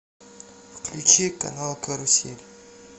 включи канал карусель